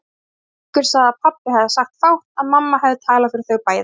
Séra Haukur sagði að pabbi hefði sagt fátt, að mamma hefði talað fyrir þau bæði.